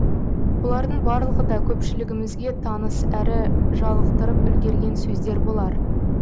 бұлардың барлығы да көпшілігімізге таныс әрі жалықтырып үлгерген сөздер болар